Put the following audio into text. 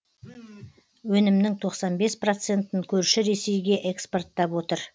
өнімнің тоқсан бес процентін көрші ресейге экспорттап отыр